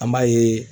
An b'a yeee